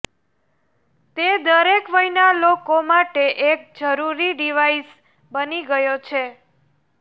તે દરેક વયના લોકો માટે એક જરૂરી ડિવાઈસ બની ગયો છે